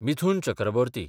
Mithun Chakraborty